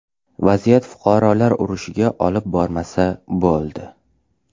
Vaziyat fuqarolar urushiga olib bormasa bo‘ldi.